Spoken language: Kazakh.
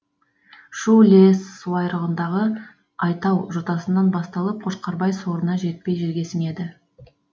шу іле суайрығындағы айтау жотасынан басталып қошқарбай сорына жетпей жерге сіңеді